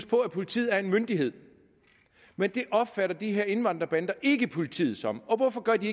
på at politiet er en myndighed men det opfatter de her indvandrerbander ikke politiet som og hvorfor gør de